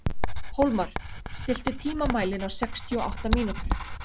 Hólmar, stilltu tímamælinn á sextíu og átta mínútur.